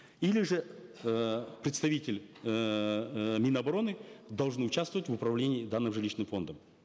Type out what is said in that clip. или же э представитель эээ мин обороны должен участвовать в управлении данным жилищным фондом